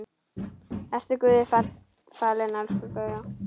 Vertu Guði falin elsku Gauja.